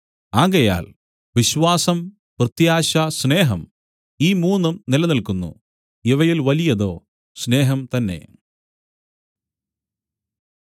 ആകയാൽ വിശ്വാസം പ്രത്യാശ സ്നേഹം ഈ മൂന്നും നിലനില്ക്കുന്നു ഇവയിൽ വലിയതോ സ്നേഹം തന്നെ